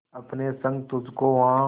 अपने संग तुझको वहां